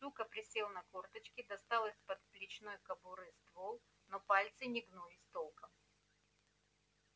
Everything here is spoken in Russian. сука присел на корточки достал из подплечной кобуры ствол но пальцы не гнулись толком